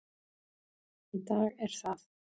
Í dag er það